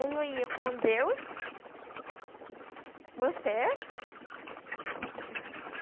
Ou eu ia com Deus, com meus pés, vou chegar na